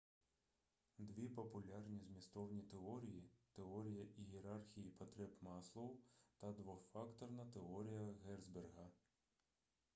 дві популярні змістовні теорії теорія ієрархії потреб маслоу та двофакторна теорія герцберґа